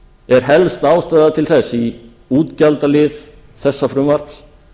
er helst ástæða til þess í útgjaldalið þessa frumvarps